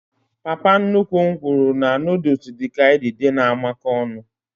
Papa nnukwu m nwuru na noodules dịka idide na amako ọnụ